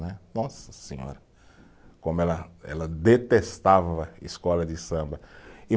Né, nossa senhora, como ela, ela detestava escola de samba.